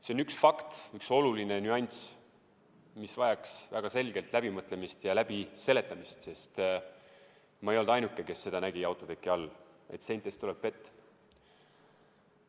See on üks fakt, üks oluline nüanss, mis vajaks väga selgelt läbimõtlemist ja lahtiseletamist, sest ma ei olnud ainuke, kes nägi autoteki all, et seintest tuleb vett.